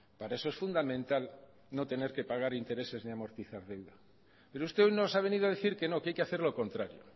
para eso es fundamental no tener que pagar intereses ni amortizar deudas pero usted hoy nos ha venido a decir que no que hay que hacer lo contrario